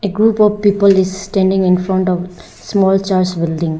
A group of people is standing in front of small church building.